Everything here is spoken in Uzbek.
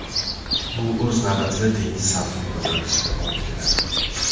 Bu o‘z navbatida dengiz sathining ko‘tarilishiga olib keladi.